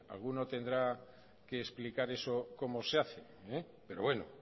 alguno tendrá que explicar eso cómo se hace pero bueno